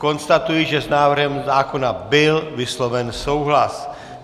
Konstatuji, že s návrhem zákona byl vysloven souhlas.